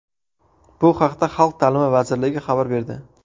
Bu haqda Xalq ta’limi vazirligi xabar berdi .